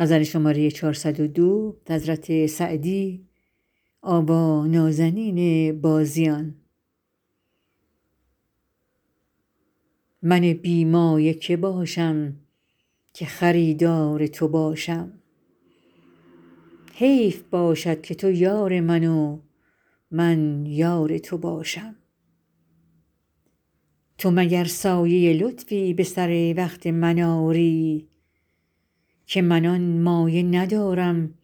من بی مایه که باشم که خریدار تو باشم حیف باشد که تو یار من و من یار تو باشم تو مگر سایه لطفی به سر وقت من آری که من آن مایه ندارم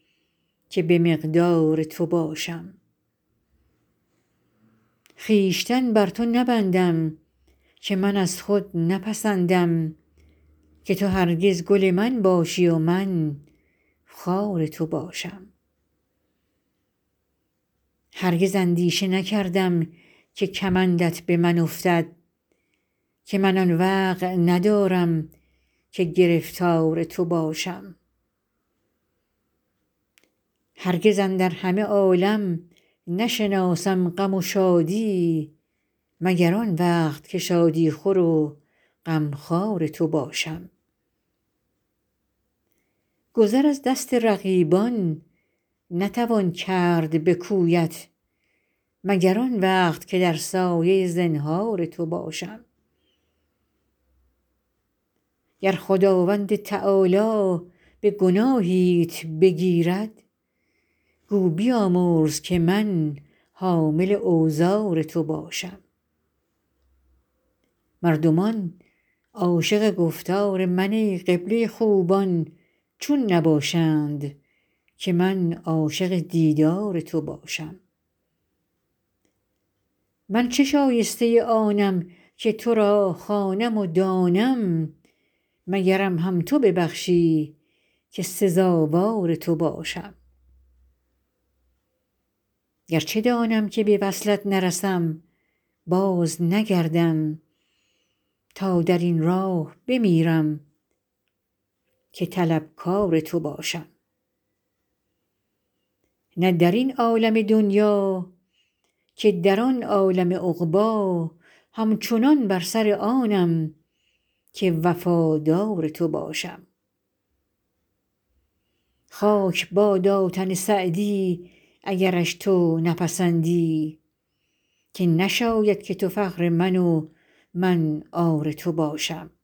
که به مقدار تو باشم خویشتن بر تو نبندم که من از خود نپسندم که تو هرگز گل من باشی و من خار تو باشم هرگز اندیشه نکردم که کمندت به من افتد که من آن وقع ندارم که گرفتار تو باشم هرگز اندر همه عالم نشناسم غم و شادی مگر آن وقت که شادی خور و غمخوار تو باشم گذر از دست رقیبان نتوان کرد به کویت مگر آن وقت که در سایه زنهار تو باشم گر خداوند تعالی به گناهیت بگیرد گو بیامرز که من حامل اوزار تو باشم مردمان عاشق گفتار من ای قبله خوبان چون نباشند که من عاشق دیدار تو باشم من چه شایسته آنم که تو را خوانم و دانم مگرم هم تو ببخشی که سزاوار تو باشم گرچه دانم که به وصلت نرسم بازنگردم تا در این راه بمیرم که طلبکار تو باشم نه در این عالم دنیا که در آن عالم عقبی همچنان بر سر آنم که وفادار تو باشم خاک بادا تن سعدی اگرش تو نپسندی که نشاید که تو فخر من و من عار تو باشم